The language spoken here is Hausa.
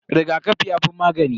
Rigakafi yafi magani.